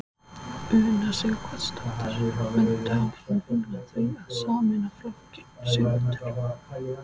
Una Sighvatsdóttir: Muntu áfram vinna að því að sameina flokkinn Sigmundur?